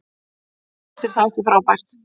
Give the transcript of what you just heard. Já og finnst þér það ekki frábært?